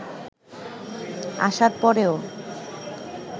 আসার পরেও